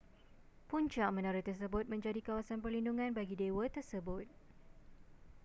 puncak menara tersebut menjadi kawasan perlindungan bagi dewa tersebut